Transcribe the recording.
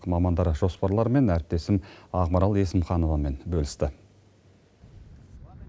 мамандар жоспарларымен әріптесім ақмарал есімхановамен бөлісті